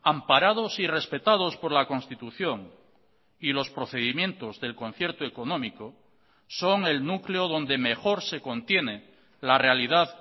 amparados y respetados por la constitución y los procedimientos del concierto económico son el núcleo donde mejor se contiene la realidad